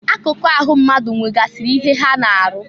Akụkụ ahụ mmadụ nwegasịrị ihe ha na-arụ.